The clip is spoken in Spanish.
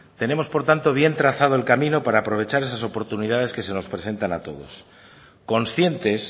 tenemos por tanto bien trazado el camino para aprovechar esas oportunidades que se nos presentan a todos conscientes